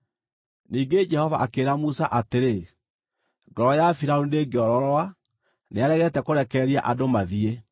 Ningĩ Jehova akĩĩra Musa atĩrĩ, “Ngoro ya Firaũni ndĩngĩororoa; nĩaregete kũrekereria andũ mathiĩ.